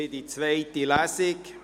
Wir beraten es in zweiter Lesung.